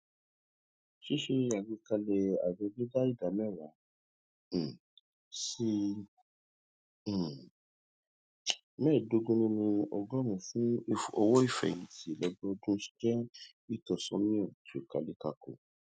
ṣíṣe àgbékalẹ àjọ dídá ìdá mẹwàá um sí um mẹẹdógún nínú ọgọrùún fún owoífẹhìntì lọdọọdún jẹ ìtọsọnà tí ó kálékáko